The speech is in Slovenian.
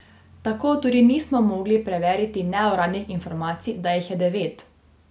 Tako tudi nismo mogli preveriti neuradnih informacij, da jih je devet.